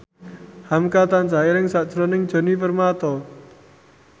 hamka tansah eling sakjroning Djoni Permato